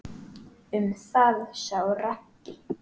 Um það sá Raggi.